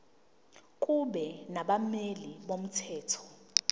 kube nabameli bomthetho